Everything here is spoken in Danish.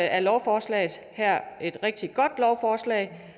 er lovforslaget her et rigtig godt lovforslag